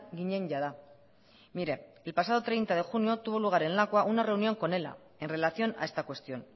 ginen jada mire el pasado treinta de junio tuvo lugar en lakua una reunión con ela en relación a esta cuestión